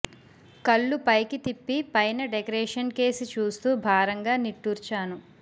కళ్లు పైకి తిప్పి పైన డెకరేషన్ కేసి చూస్తూ భారంగా నిట్టూర్చాను